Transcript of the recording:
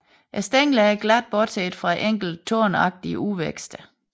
Stænglerne er glatte bortset fra enkelte tornagtige udvækster